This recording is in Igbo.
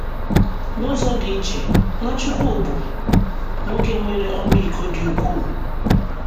N’ụzọ dị iche, Nwachukwu bụ nwoke nwere ọmịiko dị ukwuu.